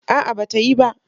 A'a, ba ta yi ba.